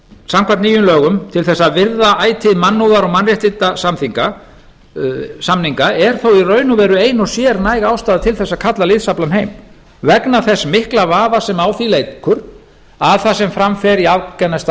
samkvæmt nýjum lögum til þess að virða ætíð mannúðar og mannréttindasamninga er þó í raun og veru ein og sér næg ástæða til þess að kalla liðsaflann heim vegna þess mikla vafa sem á því leikur að það sem fram fer í afganistan